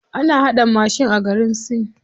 Ana haɗa mashin a garin sin.